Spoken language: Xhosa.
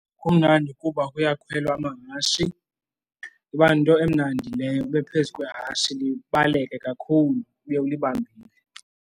Kumnandi kuba kuyakhwelwa amahashi iba yinto emnandi leyo ube phezu kwehashe libaleke kakhulu ube ulibambile.